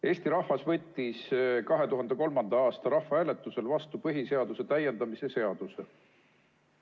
Eesti rahvas võttis 2003. aasta rahvahääletusel vastu põhiseaduse täiendamise seaduse.